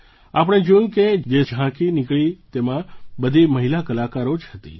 આપણે જોયું કે જે ઝાંકી નીકળી તેમાં બધી મહિલા કલાકારો જ હતી